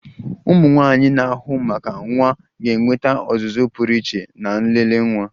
ụmụnwaanyi na-ahụ maka nwa ga-enweta ọzụzụ pụrụ iche na nlele nwa